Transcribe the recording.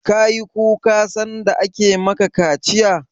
Ka yi kuka sanda ake ma ka kaciya?